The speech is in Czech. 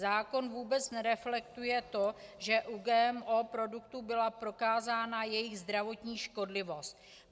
Zákon vůbec nereflektuje to, že u GMO produktů byla prokázána jejich zdravotní škodlivost.